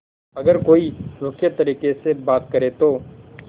अगर कोई रूखे तरीके से बात करे तो